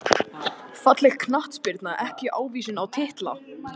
Falleg knattspyrna ekki ávísun á titla